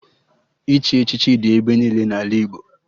Ịchị echichi dị ebe niile n'ala Igbo